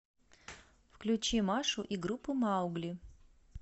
включи машу и группу маугли